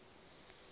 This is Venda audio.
ha ii u lafha ha